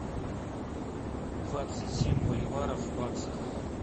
двадцать семь боливаров в баксах